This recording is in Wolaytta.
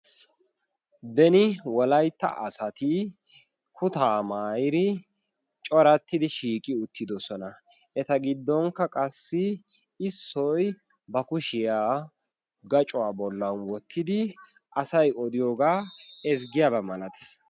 deni wolaytta asati kutaa maayiri corattidi shiiqi uttidosona eta giddonkka qassi issoi ba kushiyaa gacuwaa bollan wottidi asai odiyoogaa ezggiyaabaa malatis